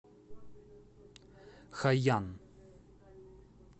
хайян